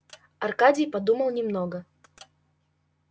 аркадий подумал немного